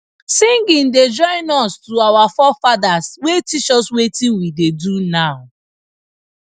singing da join us to our forefathers wey teach us wetin we da do now